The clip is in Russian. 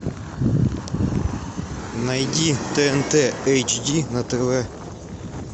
найди тнт эйч ди на тв